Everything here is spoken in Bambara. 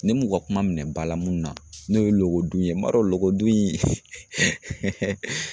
Ne m'u ka kuma minɛ ba la mun na n'o ye logodun ye n b'a dɔn logodun